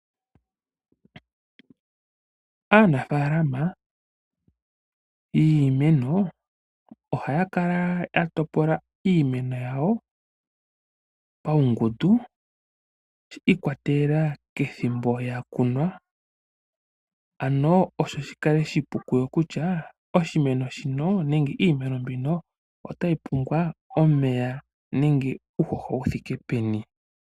Aanafaalama yiimeno ohaya kala ya topola iimeno yawo paungundu shi ikwatelela kethimbo ya kunwa opo shi kale oshipu kuyo kutya oshimeno shino nenge iimeno mbino otayi pumbwa omeya nenge uuhoho wu thike peni.